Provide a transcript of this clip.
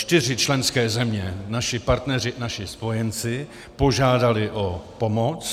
Čtyři členské země - naši partneři, naši spojenci - požádaly o pomoc.